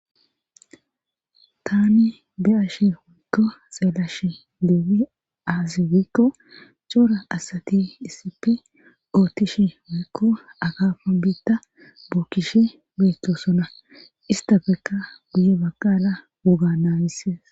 Tani de ashe wuikko xeelashe deebi aazi wiikko coora asati issippe oottish wiikko akafa biitta bukkishe beechchosona istafeka buye baqala woga naamises.